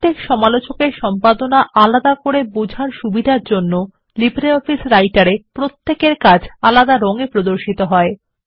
প্রত্যেক সমালোচকের সম্পাদনা আলাদা করে বোঝার সুবিধার জন্য লো রাইটার এ প্রত্যেকের কাজ আলাদা রং এ প্রদর্শিত হয়